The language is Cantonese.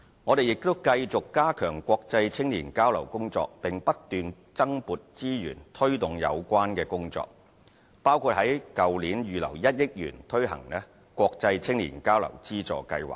我們亦繼續加強國際青年交流工作，並不斷增撥資源推動有關工作，包括在去年預留1億元推行國際青年交流資助計劃。